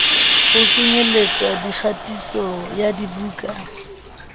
ho kenyelletsa kgatiso ya dibuka